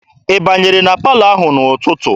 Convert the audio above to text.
Ị banyere na palọ ahụ n'ụtụtụ?